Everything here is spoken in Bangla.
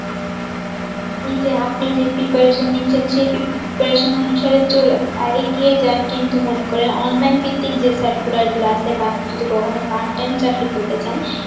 ই যে আপনি যে preparation নিচ্ছেন সেই preparation অনুসারে চলে এগিয়ে যান কিন্তু মনে করেন online ভিত্তিক যে circular গুলো আছে বাহঃ যদি কখনো part time চাকরি করতে চান